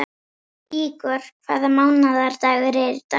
Ígor, hvaða mánaðardagur er í dag?